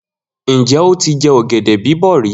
Njẹ o tí jẹ ọ̀gẹ̀dẹ̀ bíbò rí?